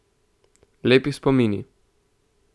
Lepi spomini.